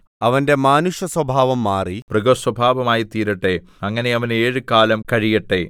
അവന്റെ മാനുഷസ്വഭാവം മാറി മൃഗസ്വഭാവമായിത്തീരട്ടെ അങ്ങനെ അവന് ഏഴുകാലം കഴിയട്ടെ